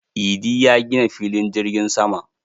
Idi ya gina filin jirgin sama